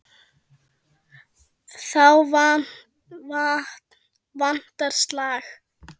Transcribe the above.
Þá vantar slag.